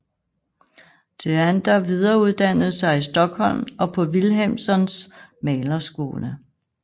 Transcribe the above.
Theander videreuddannede sig i Stockholm og på Wilhelmssons malerskole